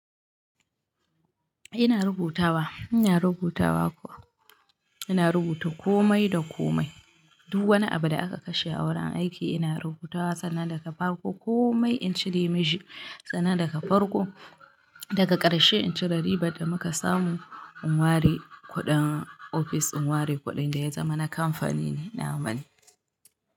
Ina rubutawa, ina rubutawa kuwa. Ina rubuta komai da komai. Duk wani abu da aka kashe a wurin aiki ina rubutawa sannan daga farko komai in cire mishi-- sannan daga farko daga ƙarshe in cire ribar da muka samu. In ware kuɗin ofis, in ware kuɗin da ya zama na kamfani ne na mane.